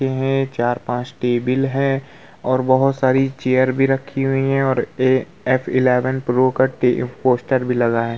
है चार पांच टेबल है और बहुत सारे चेयर भी रखी हुई है और एफ एलेवेन प्रो का पोस्टर भी लगा है।